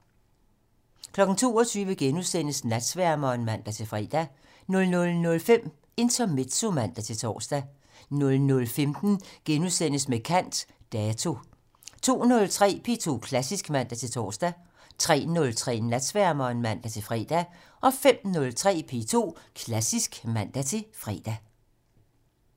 22:00: Natsværmeren *(man-fre) 00:05: Intermezzo (man-tor) 00:15: Med kant - Dato * 02:03: P2 Klassisk (man-tor) 03:03: Natsværmeren (man-fre) 05:03: P2 Klassisk (man-fre)